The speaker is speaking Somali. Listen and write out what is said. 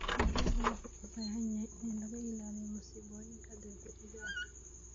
Digaagga waxay u baahan yihiin in laga ilaaliyo masiibooyinka dabiiciga ah.